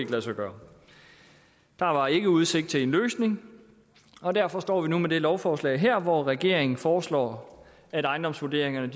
lade sig gøre der var ikke udsigt til en løsning og derfor står vi nu med det her lovforslag hvor regeringen foreslår at ejendomsvurderingerne